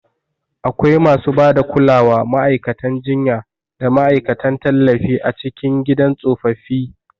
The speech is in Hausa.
Akwai masu ba da kulawa, ma'aikatan jinya, da ma'aikatan tallafi a cikin gidan tsofaffi.